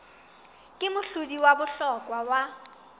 ke mohlodi wa bohlokwa wa